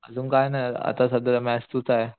आजून काही नाही आता सध्या मॅथ्स टू चा